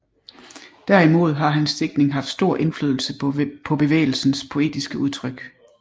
Derimod har hans digtning haft stor indflydelse på bevægelsens poetiske udtryk